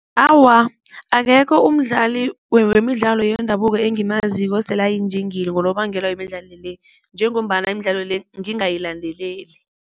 Awa, akekho umdlali wemidlalo yendabuko engimaziko osele ayinjinga ngonobangela wemidlalo le njengombana imidlalo le ngingayilandeleli.